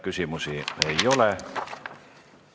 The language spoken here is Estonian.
Küsimusi ei ole.